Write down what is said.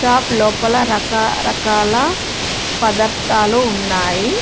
Shop లోపల రకా రకాల పదార్థాలు ఉన్నాయి.